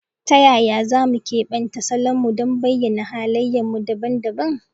Ta yaya za mu keɓanta salonmu don bayyana halayenmu dabam dabam?